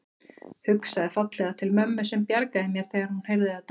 Hugsaði fallega til mömmu sem bjargaði mér þegar hún heyrði þetta.